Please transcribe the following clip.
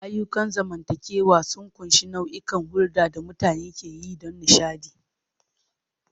Ayyukan zamantakewa sun ƙunshi nau'ikan hulɗar da mutane ke yi don nishaɗi.